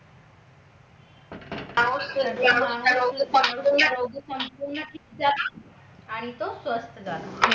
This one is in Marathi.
आणि तो स्वस्त झाला